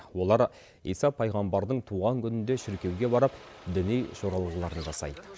олар иса пайғамбардың туған күнінде шіркеуге барып діни жоралғыларын жасайды